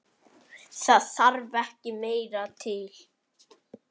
Það þarf ekki meira til.